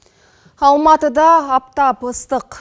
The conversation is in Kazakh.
алматыда аптап ыстық